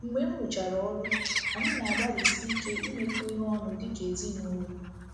Mgbe m rụchara ọrụ, anyị na - agbalịsi ike imekọ ihe ọnụ dị ka ezinụlọ.